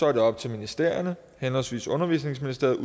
er det op til ministerierne henholdsvis undervisningsministeriet